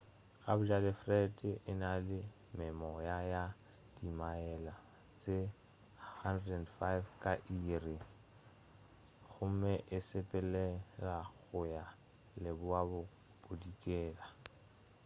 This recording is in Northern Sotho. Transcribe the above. gabjale fred e na le memoya ya dimaele tše 105 ka iri 165 km/h gomme e sepelela go ya leboabodikela